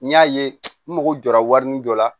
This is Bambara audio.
N y'a ye n mago jɔra warini dɔ la